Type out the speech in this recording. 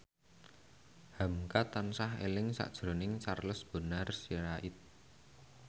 hamka tansah eling sakjroning Charles Bonar Sirait